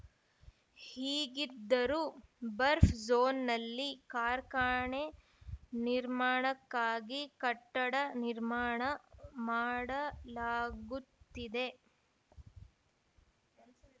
ಹೀಗಿದ್ದರೂ ಬರ್ಫ್ ಜೋನ್‌ನಲ್ಲಿ ಕಾರ್ಖಾನೆ ನಿರ್ಮಾಣಕ್ಕಾಗಿ ಕಟ್ಟಡ ನಿರ್ಮಾಣ ಮಾಡಲಾಗುತ್ತಿದೆ